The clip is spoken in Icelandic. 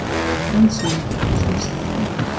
LANDSHÖFÐINGI: Svo segir Þorvaldur.